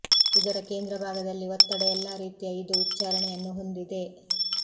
ಇದರ ಕೇಂದ್ರ ಭಾಗದಲ್ಲಿ ಒತ್ತಡ ಎಲ್ಲಾ ರೀತಿಯ ಇದು ಉಚ್ಛಾರಣೆಯನ್ನು ಹೊಂದಿದೆ